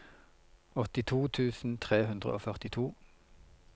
åttito tusen tre hundre og førtito